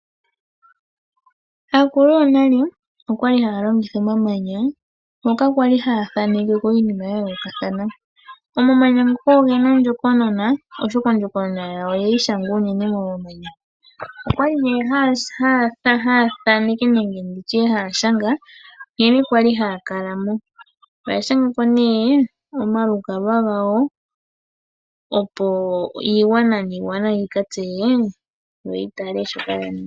Aakulu yonale okwa li haya longitha omamanya ngoka kwali haya thanekeko iinima yayoolokathana . Omamanya ngoka ogena ondjokonona, oshoka ondjokonona yawo oyeyi shanga unene momanya. Okwali haya thanekeke nenge nditye haya shanga , nkene kwali haya kalamo. Oyashangako omalukalwa gawo opo iigwanga niigwana yika tseye noyitale shoka yaninga.